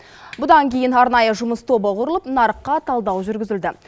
бұдан кейін арнайы жұмыс тобы құрылып нарыққа талдау жүргізілді